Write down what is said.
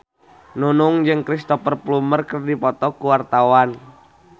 Nunung jeung Cristhoper Plumer keur dipoto ku wartawan